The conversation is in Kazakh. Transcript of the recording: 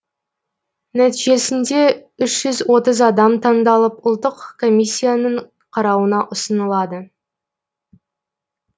нәтижесінде үш жүз отыз адам адам таңдалып ұлттық комиссияның қарауына ұсынылады